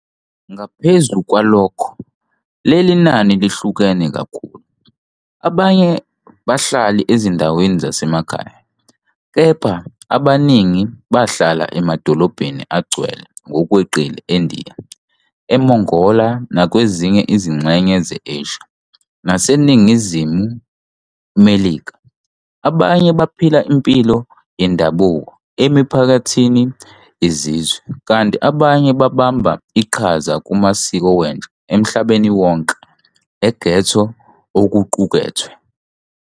Ngaphezu kwalokho, leli nani lihluke kakhulu- abanye bahlala ezindaweni zasemakhaya kepha abaningi bahlala emadolobheni agcwele ngokweqile eNdiya, eMongolia nakwezinye izingxenye ze- Asia naseNingizimu Melika, abanye baphila impilo yendabuko emiphakathini yezizwe, kanti abanye babamba iqhaza kumasiko wentsha emhlabeni wonke e- ghetto okuqukethwe.